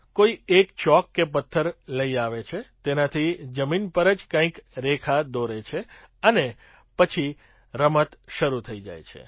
કોઈ એક ચોક કે પથ્થર લઈ આવે છે તેનાતી જમીન પર જ કંઈક રેખા દોરે છે અને પછી રમત શરૂ થઈ જાય છે